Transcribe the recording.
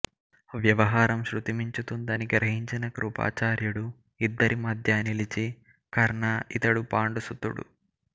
వ్యవహారం శృతి మించుతుందని గ్రహించిన కృపాచార్యుడు ఇద్దరి మధ్యా నిలిచి కర్ణా ఇతడు పాండు సుతుడు